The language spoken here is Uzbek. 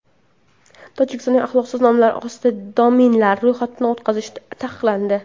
Tojikistonda axloqsiz nomlar ostida domenlar ro‘yxatdan o‘tkazish taqiqlandi.